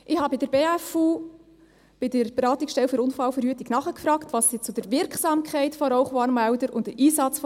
Ich habe bei der Beratungsstelle für Unfallverhütung (BFU) nachgefragt, was sie zur Wirksamkeit von Rauchwarnmeldern und zu deren Einsatz sagen.